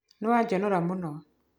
Nĩ wanjonora mũno.